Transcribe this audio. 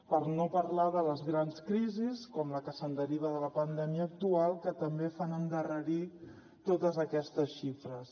per no parlar de les grans crisis com la que deriva de la pandèmia actual que també fan endarrerir totes aquestes xifres